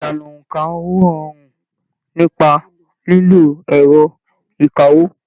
Ìlànà óńka owó rọrùn nípa lílo ẹrọ ìkáwó.